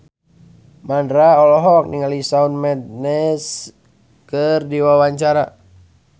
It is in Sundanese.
Mandra olohok ningali Shawn Mendes keur diwawancara